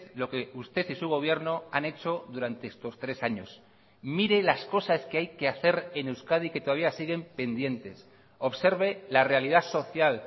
lo que usted y su gobierno han hecho durante estos tres años mire las cosas que hay que hacer en euskadi que todavía siguen pendientes observe la realidad social